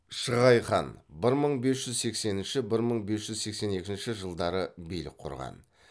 шығай хан билік құрған